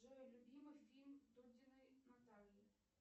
джой любимый фильм дудиной натальи